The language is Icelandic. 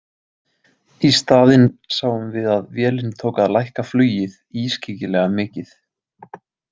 Í staðinn sáum við að vélin tók að lækka flugið ískyggilega mikið.